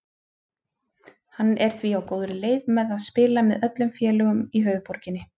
Hann er því á góðri leið með að spila með öllum félögum í höfuðborginni.